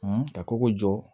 ka koko jɔ